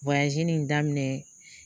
in daminɛ